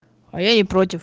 а я не против